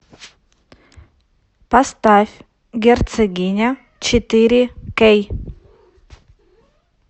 поставь герцогиня четыре кей